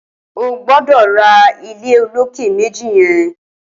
Ó gbọdọ rà ilé ólóké méji yèn